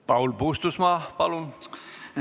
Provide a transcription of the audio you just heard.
Paul Puustusmaa, palun!